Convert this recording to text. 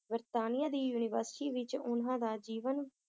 ਬਰਤਾਨੀਆ ਦੀ university ਵਿਚ ਉਹਨਾਂ ਦਾ ਜੀਵਨ